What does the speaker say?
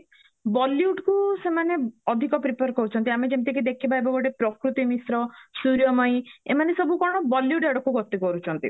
bollywood କୁ ସେମାନେ ଅଧିକ prefer କରୁଚନ୍ତି ଆମେ ଯେମିତିକି କି ଦେଖିବା ଏବେ ଗୋଟେ ପ୍ରକୃତି ମିଶ୍ର ସୁରିୟ ମୟୀ ଏମାନେ ସବୁ କଣ bollywood ଆଡକୁ ଗତି କରୁଛନ୍ତି